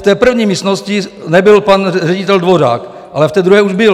V té první místnosti nebyl pan ředitel Dvořák, ale v té druhé už byl.